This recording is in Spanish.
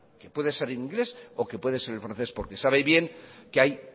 que puede ser el inglés o que puede ser el francés porque sabe bien que hay